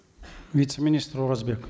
вице министр оразбек